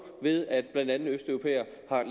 ved at blandt andet østeuropæere